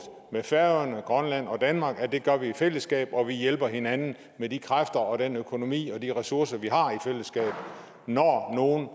færøerne grønland og danmark at det gør vi i fællesskab og vi hjælper hinanden med de kræfter og den økonomi og de ressourcer vi har i fællesskab når nogen